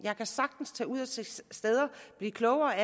jeg kan sagtens tage ud og se steder blive klogere af